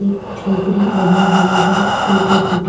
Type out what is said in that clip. एक झोपड़ी बनी हुई है टूटी-फूटी--